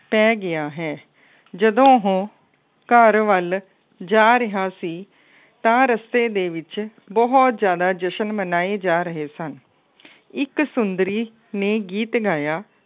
ਪੈ ਗਿਆ ਹੈ। ਜਦੋਂ ਉਹ ਘਰ ਵੱਲ ਜਾ ਰਿਹਾ ਸੀ ਤਾਂ ਰਸਤੇ ਦੇ ਵਿੱਚ ਬਹੁਤ ਜ਼ਿਆਦਾ ਜਸ਼ਨ ਮਨਾਏ ਜਾ ਰਹੇ ਸਨ। ਇੱਕ ਸੁੰਦਰੀ ਨੇ ਗੀਤ ਗਾਇਆ।